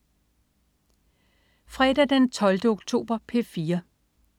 Fredag den 12. oktober - P4: